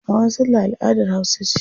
Hawan salla al'adar hausa ce.